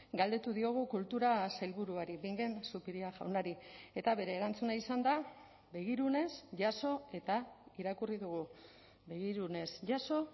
galdetu diogu kultura sailburuari bingen zupiria jaunari eta bere erantzuna izan da begirunez jaso eta irakurri dugu begirunez jaso